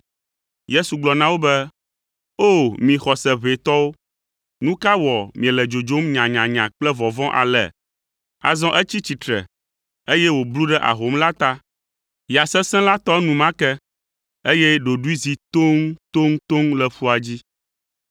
Yesu gblɔ na wo be, “O, mi xɔse ʋɛ tɔwo! Nu ka wɔ miele dzodzom nyanyanya kple vɔvɔ̃ ale?” Azɔ etsi tsitre, eye wòblu ɖe ahom la ta. Ya sesẽ la tɔ enumake, eye ɖoɖoe zi toŋtoŋtoŋ le ƒua dzi.